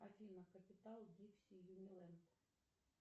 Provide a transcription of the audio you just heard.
афина капитал дикси юниленд